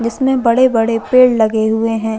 जिसमे बड़े-बड़े पेड़ लगे हुए है।